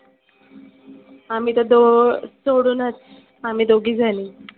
आम्ही तर द सोडुनच आम्ही दोघी जनी.